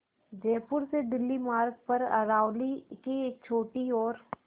जयपुर से दिल्ली मार्ग पर अरावली की एक छोटी और